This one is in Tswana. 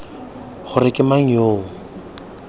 gore ke mang yo o